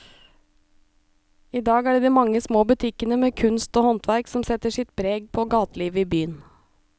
I dag er det de mange små butikkene med kunst og håndverk som setter sitt preg på gatelivet i byen.